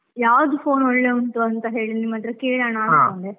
ಯಾವ್ದು phone ಒಳ್ಳೆ ಉಂಟು ಅಂತ ಹೇಳಿ ನಿಮ್ಮತ್ರ ಕೇಳೋಣ .